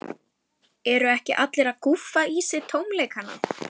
Eru ekki allir að gúffa í sig tómleikann?